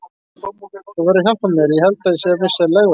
Þú verður að hjálpa mér, ég held ég sé að missa legvatnið.